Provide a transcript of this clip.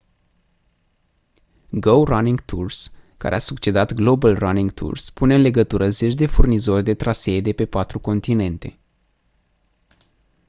go running tours care a succedat global running tours pune în legătură zeci de furnizori de trasee de pe patru continente